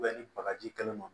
ni bagaji kɛnɛ ma